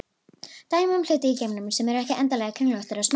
Dæmi um hluti í geimnum sem eru ekki endilega kringlóttir eru smástirni.